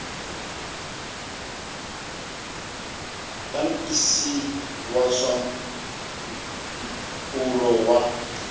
mec wa swa nkulo wa